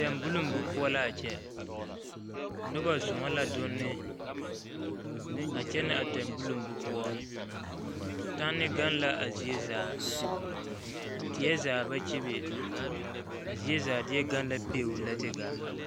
Tembulonbu poɔ la a kyɛ noba zɔɔ la donne a kyɛnɛ a tembulonbu poɔ tanne gaŋ la a zie zaa die zaa ba kyebe a zie zaa deɛ gaŋ la beo lɛ te gaa.